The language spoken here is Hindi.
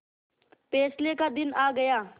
फैसले का दिन आ गया